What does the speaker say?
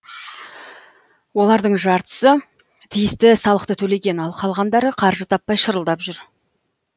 олардың жартысы тиісті салықты төлеген ал қалғандары қаржы таппай шырылдап жүр